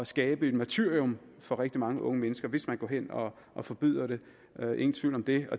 skabe et martyrium for rigtig mange unge mennesker hvis man går hen og forbyder det ingen tvivl om det